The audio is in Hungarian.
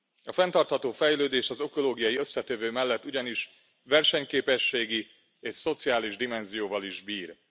A fenntartható fejlődés az ökológiai összetevő mellett ugyanis versenyképességi és szociális dimenzióval is bír.